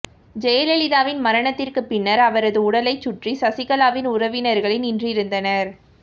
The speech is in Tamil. ஜெயலலிதாவின் மரணத்திற்கு பின்னர் அவரது உடலை சுற்றி சசிகலாவின் உறவினர்களே நின்றிருந்தனர்